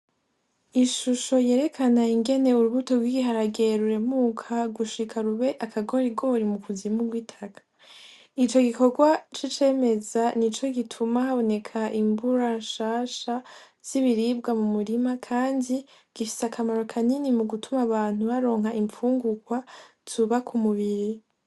Ishusho yerekana ingene urubuto rwiharageruremuka gushika rube akagore igori mu kuzima rwitaka ico gikorwa c'icemeza ni co gituma haboneka imbura nshasha zibiribwa mu murima, kandi gifise akamaro kanini mu gutuma abantu baronka impfungukwa tuba ku mubiri.